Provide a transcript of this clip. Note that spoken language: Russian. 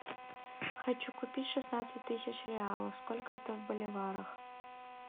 хочу купить шестнадцать тысяч реалов сколько это в боливарах